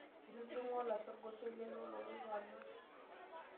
Etudung'o olashe orgosoi leilo loloito anak.